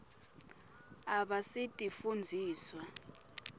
abasitifundziswa